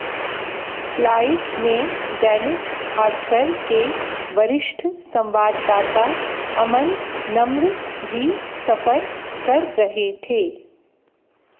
flight में दैनिक भास्कर के वरिष्ठ संवाददाता अमन नम्र भी सफर कर रहे थे